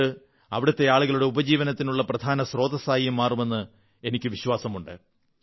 ഇത് അവിടത്തെ ആളുകളുടെ ഉപജീവനത്തിനുള്ള പ്രധാന സ്രോതസ്സായും മാറുമെന്ന് എനിക്കു വിശ്വാസമുണ്ട്